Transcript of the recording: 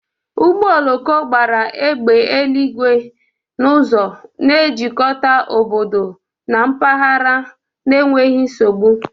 Ụgbọ oloko gbara égbè eluigwe n'ụzọ, na-ejikọta obodo na mpaghara n'enweghị nsogbu.